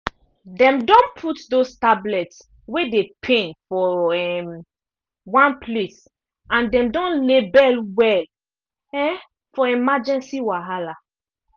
dem don put those tablets wey dey pain for um one place and them don label well um for emergency wahala